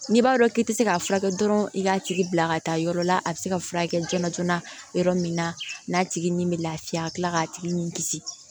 N'i b'a dɔn k'i tɛ se k'a furakɛ dɔrɔn i k'a tigi bila ka taa yɔrɔ la a bɛ se ka furakɛ joona joona yɔrɔ min na n'a tigi ni bɛ lafiya a bi kila k'a tigi ni kisi